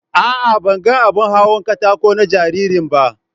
A'a, ban ga abin hawan kataƙo na jaririn ba.